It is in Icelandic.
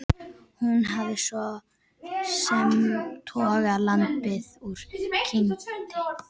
Hún hafði svo sem togað lambið úr kindinni.